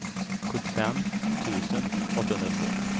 sjuttiofem tusen åttahundratvå